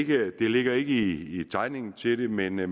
ligger ikke i tegningen til det men jeg